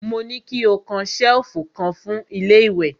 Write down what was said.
Mo ní ki ó kan ṣẹ̀lfù kan fún ilé ìwẹ̀!